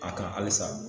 A ka halisa